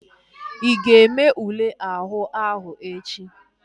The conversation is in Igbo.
Ị ga-eme ule àhú áhụ̀ echi?